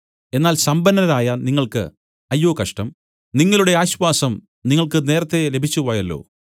എന്നാൽ സമ്പന്നരായ നിങ്ങൾക്ക് അയ്യോ കഷ്ടം നിങ്ങളുടെ ആശ്വാസം നിങ്ങൾക്ക് നേരത്തേ ലഭിച്ചുപോയല്ലോ